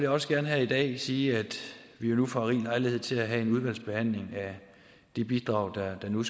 også gerne her i dag sige at vi jo nu får rig lejlighed til at have en udvalgsbehandling af de bidrag der nu